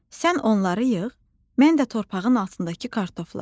Sən onları yığ, mən də torpağın altındakı kartofları.